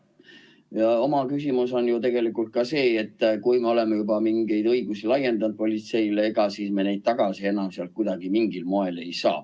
Ja üks küsimus on ju tegelikult ka see, et kui me oleme juba mingeid õigusi laiendanud politseile, ega me siis neid tagasi enam sealt mingil moel ei saa.